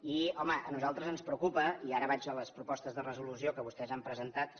i home a nosaltres ens preocupa i ara vaig a les propostes de resolució que vostès han presentat